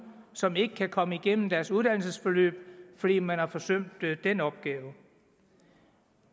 som ikke kan komme igennem deres uddannelsesforløb fordi man har forsømt den opgave